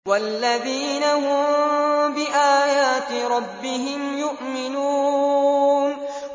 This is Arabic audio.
وَالَّذِينَ هُم بِآيَاتِ رَبِّهِمْ يُؤْمِنُونَ